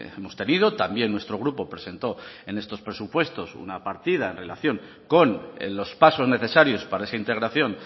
hemos tenido también nuestro grupo presentó en estos presupuestos una partida en relación con los pasos necesarios para esa integración